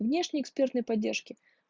внешней экспертной поддержки